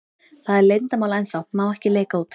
Það er leyndarmál ennþá, má ekki leka út.